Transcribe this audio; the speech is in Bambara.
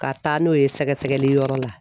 Ka taa n'o ye sɛgɛsɛgɛli yɔrɔ la.